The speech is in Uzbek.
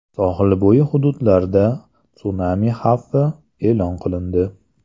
Sohilbo‘yi hududlarda sunami xavfi e’lon qilindi.